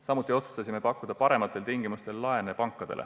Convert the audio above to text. Samuti oleme otsustanud pakkuda pankadele parematel tingimustel laenu.